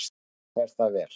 Þá fer það vel.